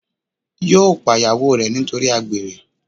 yóò pa ìyàwó re nítorí àgbèrè